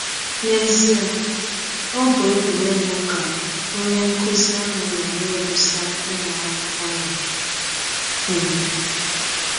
N’ezie, ọ bụ egwụregwụ ka onye nkụzi ahụ nọ na - egwụsa ụmụ akwụkwọ ya. um